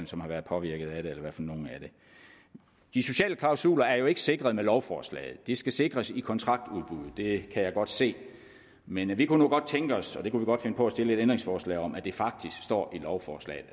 som har været påvirket af det de sociale klausuler er ikke sikret med lovforslaget de skal sikres i kontraktudbuddet det kan jeg godt se men vi kunne nu godt tænke os og det kunne vi godt finde på at stille et ændringsforslag om at det faktisk står i lovforslaget